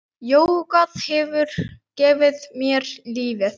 Jógað hefur gefið mér lífið.